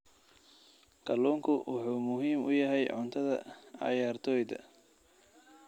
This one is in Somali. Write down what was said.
Kalluunku wuxuu muhiim u yahay cuntada cayaartoyda.